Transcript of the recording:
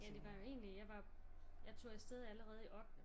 Ja det var jo egentlig jeg var jeg tog afsted allerede i ottende